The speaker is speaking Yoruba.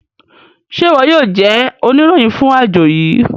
Ṣe iwọ yoo jẹ oniroyin fun ajo yii?